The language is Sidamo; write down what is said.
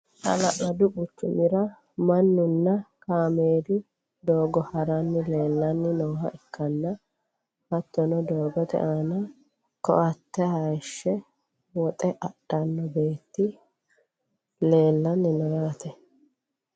hala'ladu quccumira mannunna kaameelu doogo haranni leelanni nooha ikkanna, hattono doogote aana koatte hayiishshe woxe adhanno beetti leelanni no yaate.